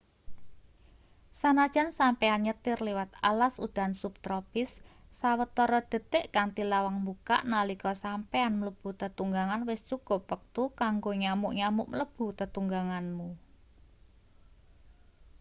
sanajan sampeyan nyetir liwat alas udan subtropis sawetara detik kanthi lawang mbukak nalika sampeyan mlebu tetunggangan wis cukup wektu kanggo nyamuk-nyamuk mlebu tetungganganmu